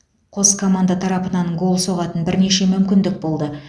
қос команда тарапынан гол соғатын бірнеше мүмкіндік болды